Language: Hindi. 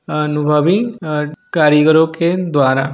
अनुभवी अ कारीगरो के द्वारा--